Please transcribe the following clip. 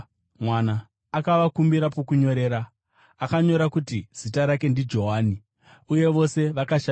Akavakumbira pokunyorera, akanyora kuti “Zita rake ndiJohani” uye vose vakashamiswa nazvo.